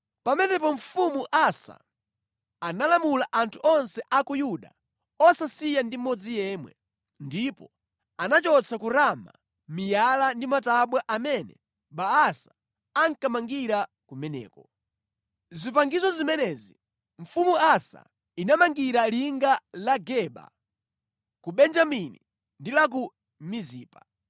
Pamenepo Mfumu Asa analamula anthu onse a ku Yuda osasiya ndi mmodzi yemwe, ndipo anachotsa ku Rama miyala ndi matabwa amene Baasa ankamangira kumeneko. Zipangizo zimenezi Mfumu Asa inamangira linga la Geba ku Benjamini ndi la ku Mizipa.